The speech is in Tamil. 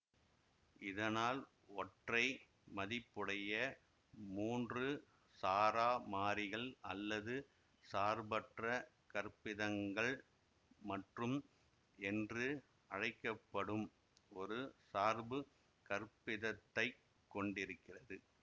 இதனால் ஒற்றைமதிப்புடைய மூன்று சாரா மாறிகள் அல்லது சார்பற்ற கற்பிதங்கள் மற்றும் என்று அழைக்க படும் ஒரு சார்பு கற்பிதத்தைக் கொண்டிருக்கிறது